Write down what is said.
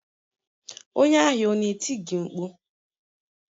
Onye ahịa ọ na-eti gị mkpu?